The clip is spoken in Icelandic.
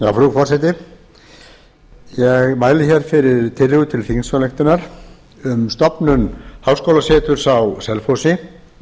forseti ég mæli fyrir tillögu til þingsályktunar um stofnun háskólaseturs á selfossi